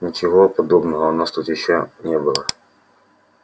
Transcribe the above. ничего подобного у нас тут ещё не было